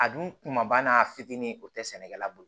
A dun kumaba n'a fitinin o tɛ sɛnɛkɛla bolo